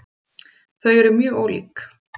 Þau eru mjög ólík.